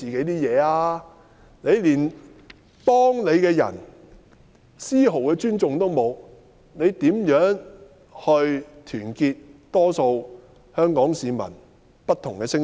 她連幫她的人都絲毫不予尊重，又如何會去團結香港市民眾多不同的聲音？